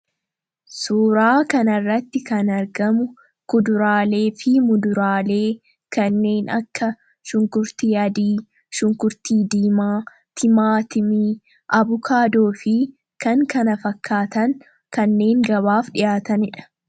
Suuraa kanarratti kan argamu kuduraalee fi muduraalee kanneen akka shunkurtii aadii, shunkurtii diimaa timaatimii, abukaadoo fi kan kana fakkaatan kanneen gabaaf dhiyaataniidha.